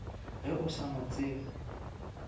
ge o sa mo tsebe